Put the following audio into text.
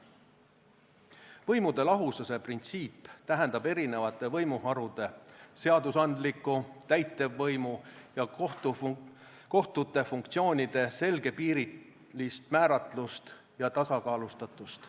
Võimude lahususe printsiip tähendab erinevate võimuharude, seadusandliku, täitevvõimu ja kohtute funktsioonide selgepiirilist määratlust ja tasakaalustatust.